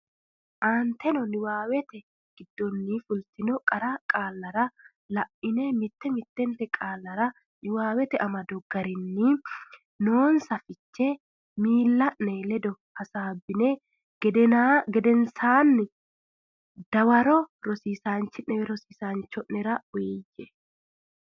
Aanteteno niwaawete giddonni fultinota qara qaalla la ine mitte mittente qaallara niwaawete amado garinni noonsa fichere miilla ne ledo hasaabbini gedensaanni dawaro rosiisaanchi o nera uyiyye.